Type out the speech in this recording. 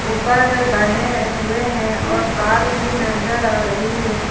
ऊपर बने हुए हैं और तार भी नजर आ रही है।